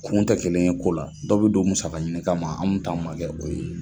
Kun tɛ kelen ye ko la, dɔ bi don musaka ɲini kama anw ta ma kɛ o ye.